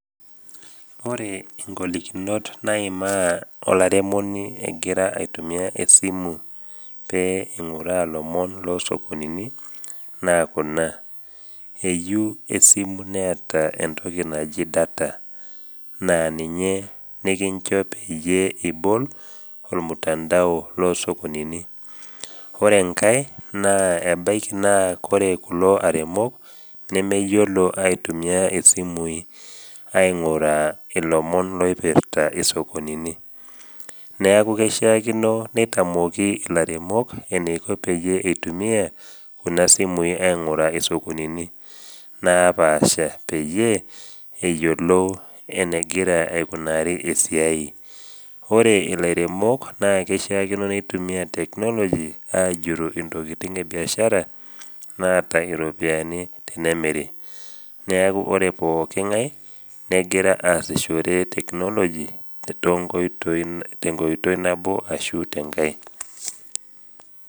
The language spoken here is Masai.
Ore ngolikinot naimaa olaremoni egira aitumia esimu pee eing’uraa lomon loo sokonini naa kuna, eyeu esimu neata entoki naji data aa ninye nikincho peyie ibol olmutandao lo sokonini. Ore engai naa ebaiki naa kore kulo aremok, nemeyiolo aitumia isimui aing’uraa ilomon loipirta isokonini. Neaku keishaakino neitamoki ilaremok eneiko peyie eitumia kuna simui aing’urra isokonini naapaasha peyie eyiolou enegira aikunari esiai. Ore ilaremok, naa keishaakino neitumia teknoloji ajurru intokitin ebiashara naata iropiani tenemiri. Neaku ore pooki ng’ai, negira aasishore teknoloji tenkoitoi nabo ashu tenkai.